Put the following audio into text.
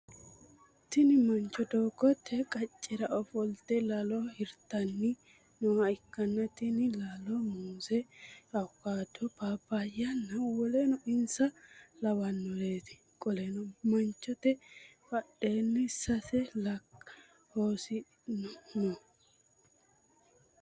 Tinni mancho doogote qacera ofolte laallo hirtanni nooha ikanna tinni laalono muuze, awukaatto, paapayahonna woleno insa lawanoreeti. Qoleno manchote badheenni sase laka hodhishi no.